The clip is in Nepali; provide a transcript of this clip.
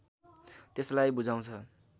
त्यसलाई बुझाउँछ